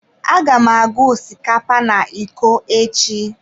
Aga m agụ osikapa na iko echi.